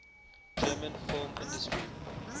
german film industry